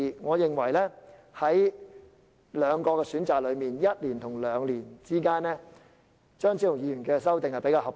我認為在兩個選擇中，即在1年與兩年之間，後者——即張超雄議員的修正案——較為合理。